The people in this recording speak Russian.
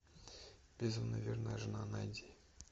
безумно верная жена найди